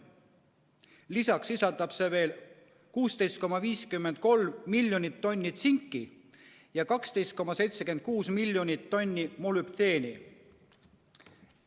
Lisaks sisaldab see 16,53 miljonit tonni tsinki ja 12,76 miljonit tonni molübdeeni.